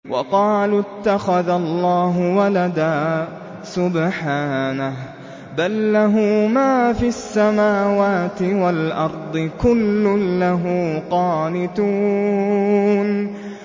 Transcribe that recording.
وَقَالُوا اتَّخَذَ اللَّهُ وَلَدًا ۗ سُبْحَانَهُ ۖ بَل لَّهُ مَا فِي السَّمَاوَاتِ وَالْأَرْضِ ۖ كُلٌّ لَّهُ قَانِتُونَ